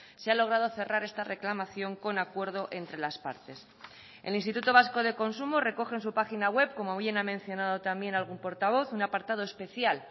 se ha logrado cerrar esta reclamación con acuerdo entre las partes el instituto vasco de consumo recoge en su página web como bien ha mencionado también algún portavoz un apartado especial